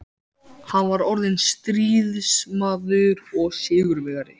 Hann var orðinn stríðsmaður og sigurvegari.